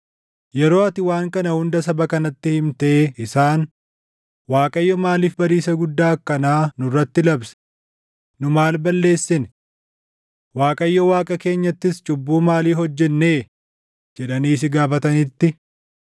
“Yeroo ati waan kana hunda saba kanatti himtee isaan, ‘ Waaqayyo maaliif badiisa guddaa akkanaa nurratti labse? Nu maal balleessine? Waaqayyo Waaqa keenyattis cubbuu maalii hojjennee?’ jedhanii si gaafatanitti,